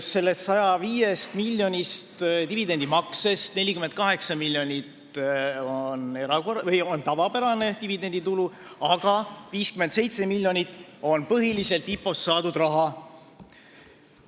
Sellest 105-miljonilisest dividendimaksest 48 miljonit eurot on tavapärane dividenditulu, aga 57 miljonit on põhiliselt IPO-st saadud raha.